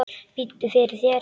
Biddu fyrir þér!